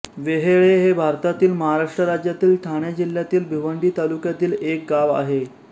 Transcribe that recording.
वेहेळे हे भारतातील महाराष्ट्र राज्यातील ठाणे जिल्ह्यातील भिवंडी तालुक्यातील एक गाव आहे